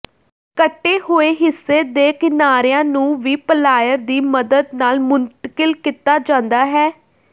ਕੱਟੇ ਹੋਏ ਹਿੱਸੇ ਦੇ ਕਿਨਾਰਿਆਂ ਨੂੰ ਵੀ ਪਲਾਇਰ ਦੀ ਮਦਦ ਨਾਲ ਮੁੰਤਕਿਲ ਕੀਤਾ ਜਾਂਦਾ ਹੈ